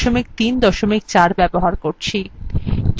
যদি আপনার libreoffice সংকলন ইনস্টল করা না থাকে